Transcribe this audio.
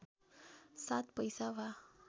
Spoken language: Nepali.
सात पैसा वा